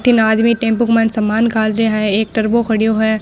बठन आदमी टेम्पू के माइन सामान घाल रहा है एक टर्बो खड़ो है।